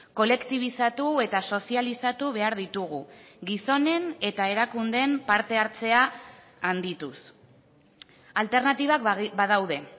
kolektibizatu eta sozializatu behar ditugu gizonen eta erakundeen parte hartzea handituz alternatibak badaude